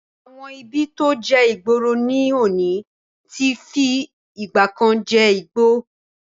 Àwọn ibi tí ó jẹ́ ìgboro ní òní ti fi ìgbàkan je igbó